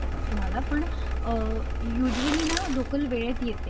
तुम्हाला पण युजवली ना लोकल वेळेत येते.